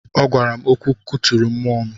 Ọ gwara m okwu kụturu mmụọ m.